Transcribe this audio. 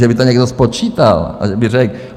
Že by to někdo spočítal a že by řekl...